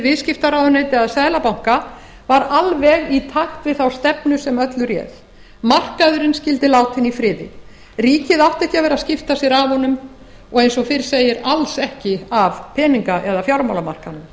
fjármálaráðuneyti eða seðlabanka var alveg í takt við þá stefnu sem öllu réð markaðurinn skyldi látinn í friði ríkið átti ekki að vera að skipta sér af honum og eins og fyrr segir alls ekki af peninga eða fjármálamarkaðnum